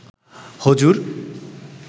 হুজুর